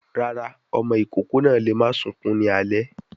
Rárá, ọmọ ìkókó náà lè máa sunkún ní alé.